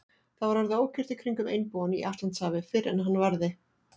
Það var orðið ókyrrt í kringum einbúann í Atlantshafi, fyrr en hann varði.